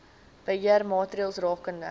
beheer maatreëls rakende